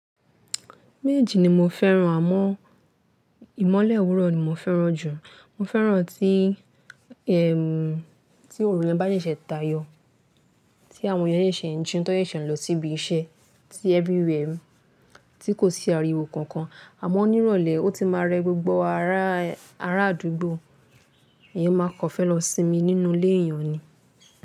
Mééjì ni mo fẹ́ran, àmọ́ ìmọ́lẹ̀ òwúrọ̀ ni mo fẹ́ran jù. Mo fẹ́ran tí, ẹm, tí òrùlé bá ṣẹ̀ṣẹ̀ tayọ̀, tí àwọn eyan ṣẹ̀ṣẹ̀ ń jí, tọ́ wọn ṣẹ̀ ń lọ síbi iṣẹ́, tí everywhere, tí kò sí ariwo kankan, àmọ́ ní ìrọ̀lẹ́ ọtí máa rẹ gbogbo ará àdúgbò, èèyàn máa kàn fẹ́ lọ sinmi nínú ilé èèyàn ni.